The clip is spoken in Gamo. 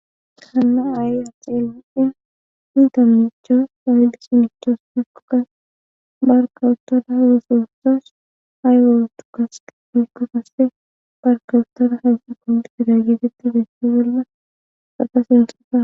Hayssan qaseka issi na'ay silke oyki uttidayssa besees.